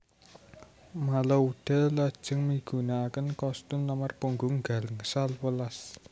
Malouda lajeng migunakaken kostum nomor punggung gangsal welas